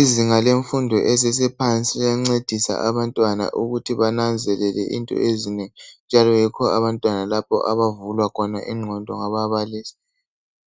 Izinga lemfundo esesephansi liyancedisa abantwana ukuthi bananzelele into ezinengi njalo yikho lapho abantwana abavulwa khona ingqondo ngababalisi.